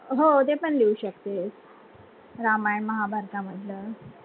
हो ते पण लिहू शकते रामायण महाभारता मधल